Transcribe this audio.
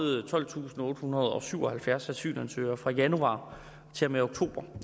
tolvtusinde og ottehundrede og syvoghalvfjerds asylansøgere fra januar til og med oktober